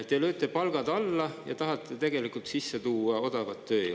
Te lööte palgad alla ja tahate tegelikult sisse tuua odavat tööjõudu.